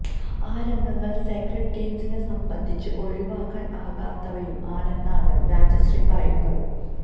ആ രംഗങ്ങള് സേക്രഡ് ഗെയിംസിനെ സംബന്ധിച്ച് ഒഴിവാക്കാന് ആകാത്തവയും ആണെന്നാണ് രാജശ്രീ പറയുന്നത്